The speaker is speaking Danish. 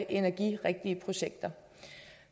energirigtige projekter